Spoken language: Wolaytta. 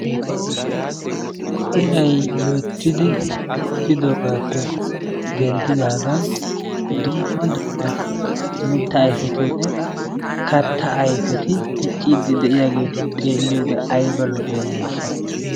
Iray loyttiidi bukkidoogaappe denddidaagan dumma dumma mittaa ayfetinne kattaa ayfeti dicciiddi de"iyaageeti xeelliyoode ayba lo"iyoonaasha!